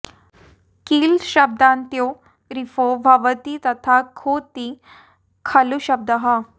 किल शब्दान्त्यो रेफो भवति तथा खु त्ति खलुशब्दः